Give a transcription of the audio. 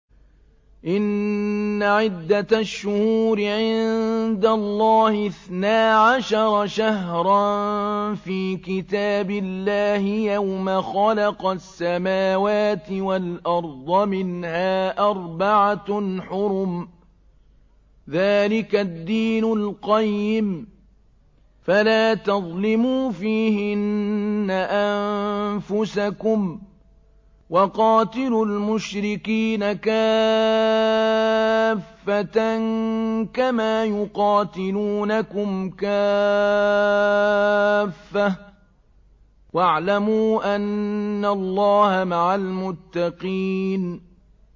إِنَّ عِدَّةَ الشُّهُورِ عِندَ اللَّهِ اثْنَا عَشَرَ شَهْرًا فِي كِتَابِ اللَّهِ يَوْمَ خَلَقَ السَّمَاوَاتِ وَالْأَرْضَ مِنْهَا أَرْبَعَةٌ حُرُمٌ ۚ ذَٰلِكَ الدِّينُ الْقَيِّمُ ۚ فَلَا تَظْلِمُوا فِيهِنَّ أَنفُسَكُمْ ۚ وَقَاتِلُوا الْمُشْرِكِينَ كَافَّةً كَمَا يُقَاتِلُونَكُمْ كَافَّةً ۚ وَاعْلَمُوا أَنَّ اللَّهَ مَعَ الْمُتَّقِينَ